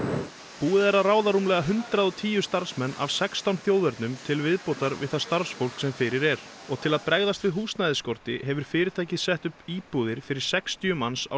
búið er að ráða rúmlega hundrað og tíu starfsmenn af sextán þjóðernum til viðbótar við það starfsfólk sem fyrir er og til að bregðast við húsnæðisskorti hefur fyrirtækið sett upp íbúðir fyrir sextíu manns á